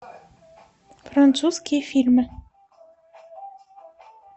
французские фильмы